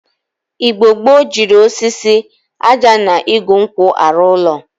Igbo gboo jiri osisi, aja na igu nkwu aru ulo.